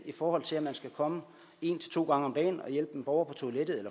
i forhold til at man skal komme en til to gange om dagen og hjælpe en borger på toilettet